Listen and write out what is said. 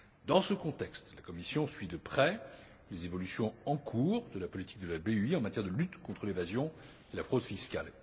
Dans ce contexte, la Commission suit de près les évolutions en cours de la politique de la BEI en matière de lutte contre l'évasion et la fraude fiscales.